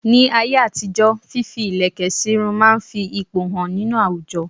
Ní ayé àtijó fífi ilẹ̀kẹ̀ máa ń fi ipò hàn nínú àwùjọ.